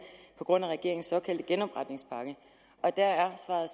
på grund af regeringens såkaldte genopretningspakke der er svaret